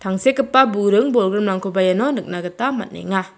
tangsekgipa buring-bolgrimrangkoba iano nikna gita man·enga.